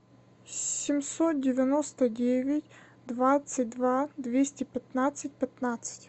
семьсот девяносто девять двадцать два двести пятнадцать пятнадцать